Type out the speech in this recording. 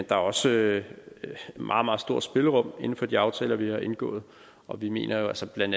der er også et meget meget stort spillerum inden for de aftaler vi har indgået og vi mener jo altså bla